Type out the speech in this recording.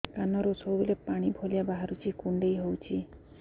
କାନରୁ ସବୁବେଳେ ପାଣି ଭଳିଆ ବାହାରୁଚି କୁଣ୍ଡେଇ ହଉଚି